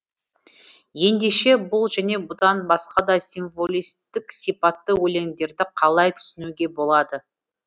ендеше бұл және бұдан басқа да символистік сипатты өлеңдерді қалай түсінуге болады